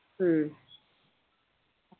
ഉം